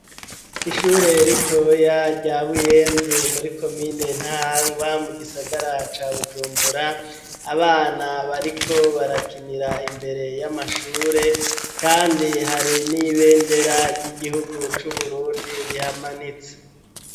Ishure ritoya rya buyenzi muri komine ntahangwa mu gisagara ca bujumbura abana bariko barakinira imbere y'amashure kandi hari n'ibendera ry'igihugu c'uburundi rihamanitse.